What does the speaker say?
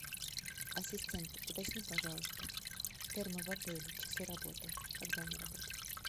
ассистент уточни пожалуйста термы в отеле часы работы когда они работают